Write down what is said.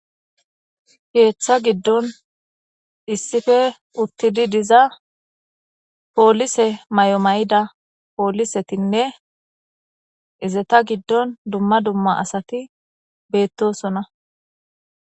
Ketha gidon issippe utid diza polise mayo mayida polisetinne izeta gidon dumma dumma asat betosona .